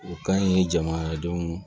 O ka ɲi jamana dɔn